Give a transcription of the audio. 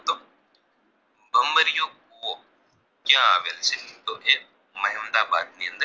ક્યાં આવેલ છે તો કે મેહમદાબાદની અંદર